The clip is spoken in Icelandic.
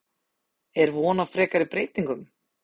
Er von á frekari breytingum?